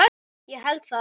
Ég held það